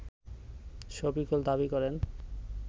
শফিকুল দাবি করেন